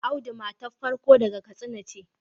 Audu matar farko daga kastina ce